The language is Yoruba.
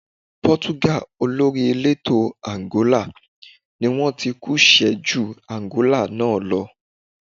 Pọ́túgà olórí elétò Àǹgólà ni wón tí kú ṣẹ ju Àǹgólà náà lọ.